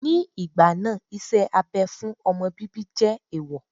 Ní ìgbà náà, iṣẹ́ abẹ fún ọmọ bíbí jẹ́ ẹ̀ẹ̀wọ̀